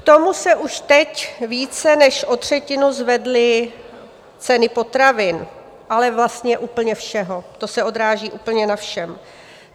K tomu se už teď více než o třetinu zvedly ceny potravin, ale vlastně úplně všeho, to se odráží úplně na všem.